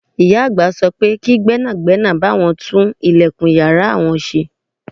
Màmá àgbà ní kí gbẹ́nàgbẹ́nà bá àwọn tún ìlẹ̀kùn ìyára àwọn ṣe.